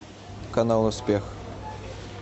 канал успех